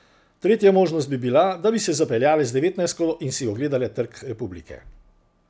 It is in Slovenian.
Tretja možnost bi bila, da bi se zapeljale z devetnajstko in si ogledale Trg republike.